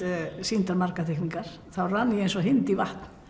sýndar margar teikningar þá rann ég eins og hind í vatn